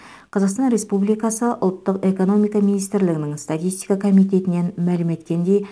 қазақстан республикасы ұлттық экономика министрлігінің статистика комитетінен мәлім еткендей